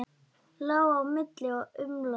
Lá á milli og umlaði.